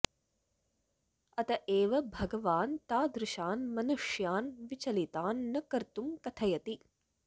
अत एव भगवान् तादृशान् मनुष्यान् विचलितान् न कर्तुं कथयति